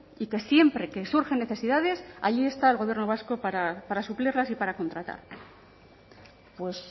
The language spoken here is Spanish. y que siempre que surgen necesidades ahí está el gobierno vasco para suplirlas y para contratar pues